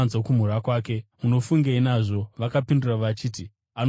Munofungei nazvo?” Vakapindura vachiti, “Anofanira kufa!”